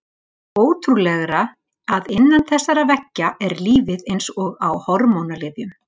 Því ótrúlegra að innan þessara veggja er lífið eins og á hormónalyfjum.